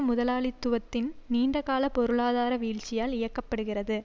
முதலாளித்துவத்தின் நீண்டகால பொருளாதார வீழ்ச்சியால் இயக்க படுகிறது